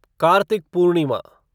Kartik Purnima